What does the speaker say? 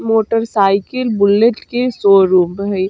Motor cycle bullet के showroom भ हेय।